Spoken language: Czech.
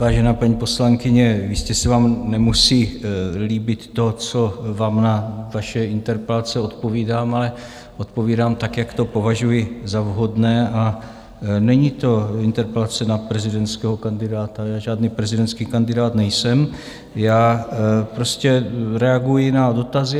Vážená paní poslankyně, jistě se vám nemusí líbit to, co vám na vaše interpelace odpovídám, ale odpovídám tak, jak to považuji za vhodné, a není to interpelace na prezidentského kandidáta, já žádný prezidentský kandidát nejsem, já prostě reaguji na dotazy.